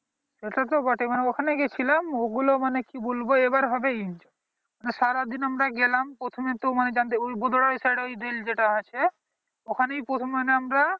সেটা তো বটেই মানে ওখানে গিয়েছিলাম ওগুলো মানে কি বলবো এইবার হবে . মানে সারা দিন আমরা গেলাম প্রথমে তো . দের side এ দিল যেটা আছে ওখানে ই প্রথমে আমরা